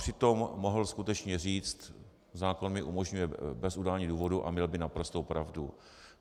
Přitom mohl skutečně říct "zákon mi umožňuje bez udání důvodu" a měl by naprostou pravdu.